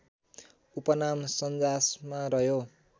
उपनाम सन्जासमा रह्यो